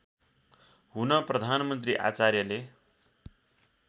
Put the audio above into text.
हुन प्रधानमन्त्री आचार्यले